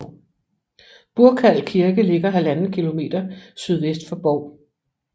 Burkal Kirke ligger 1½ km sydvest for Bov